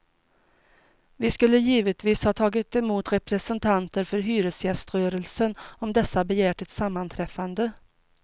Vi skulle givetvis ha tagit emot representanter för hyresgäströrelsen om dessa begärt ett sammanträffande.